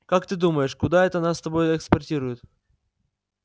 как ты думаешь куда это нас с тобой эскортируют